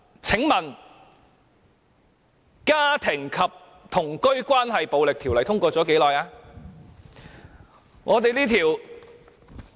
請問《家庭及同居關係暴力條例》通過了多久？